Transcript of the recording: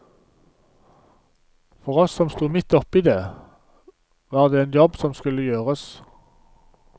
For oss som sto midt oppi det, var det en jobb som skulle gjøres.